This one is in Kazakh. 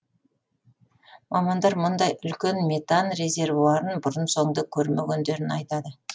мамандар мұндай үлкен метан резервуарын бұрын соңды көрмегендерін айтады